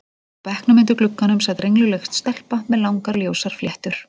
Á bekknum undir glugganum sat rengluleg stelpa með langar ljósar fléttur.